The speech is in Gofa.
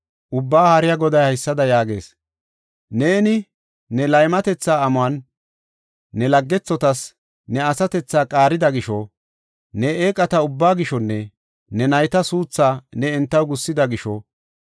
Ubbaa Haariya Goday haysada yaagees; “Neeni ne laymatetha amuwan ne laggethotas ne asatethaa qaarida gisho, ne eeqata ubba gishonne ne nayta suuthaa ne entaw gussida gisho,